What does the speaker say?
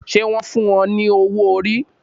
Ṣé wọn fún o ní owó orí